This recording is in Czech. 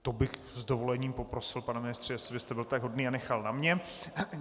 To bych s dovolením poprosil, pane ministře, jestli byste byl tak hodný a nechal na mě.